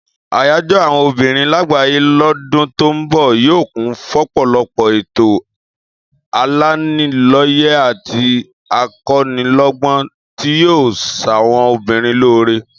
Àyájó̩ àwo̩n obìnrin lágbàáyé lọ́dún tó ń bò̩ yóò kún fọ́pò̩lo̩pò̩ ètò alaniló̩yè̩ àti ako̩niló̩gbó̩n tí yóò s̩àwo̩n obìnrin lóore